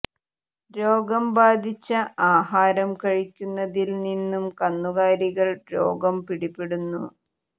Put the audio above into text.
രോഗം ബാധിച്ച ആഹാരം കഴിക്കുന്നതിൽ നിന്നും കന്നുകാലികൾ രോഗം പിടിപെടുന്നു